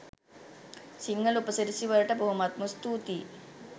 සිංහල උපසිරැසි වලට බොහොමත්ම ස්තූතියි